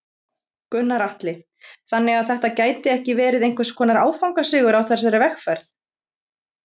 Gunnar Atli: Þannig að þetta gæti ekki verið einhvers konar áfangasigur á þessari vegferð?